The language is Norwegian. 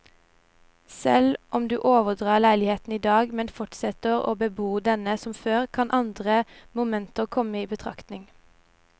Selv om du overdrar leiligheten i dag, men fortsetter å bebo denne som før, kan andre momenter komme i betraktning.